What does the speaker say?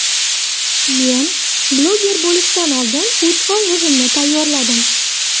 Men bloger bo‘lishdan oldin uch oy o‘zimni tayyorladim.